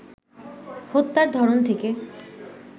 হত্যার ধরন থেকে